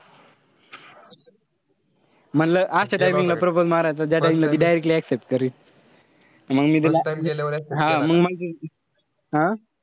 म्हणलं असं timing ला propose मारायचं ज्या time ला ती accept करेल. मंग मी तिला हा मंग, हा?